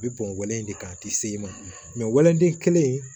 A bɛ bɔnlin in de kan a tɛ se i ma wɛlɛden kelen in